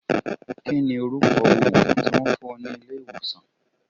Kí ni orúkọ òògùn tí Wọ́n fún ọ ní ilé ìwòsàn?